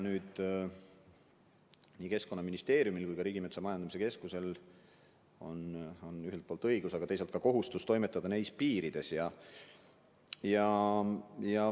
Seega on nii Keskkonnaministeeriumil kui ka Riigimetsa Majandamise Keskusel ühelt poolt õigus, aga teiselt poolt ka kohustus toimetada nendes piirides.